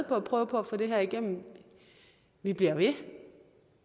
på at prøve på at få det her igennem vi bliver ved